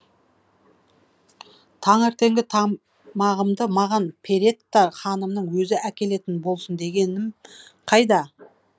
таңертеңгі маған перетта ханымның өзі әкелетін болсын дегенім қайда